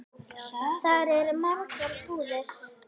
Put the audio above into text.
Þar eru margar búðir.